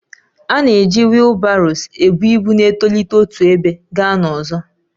A na-eji wheelbarrows ebu ibu na-etolite otu ebe gaa n'ọzọ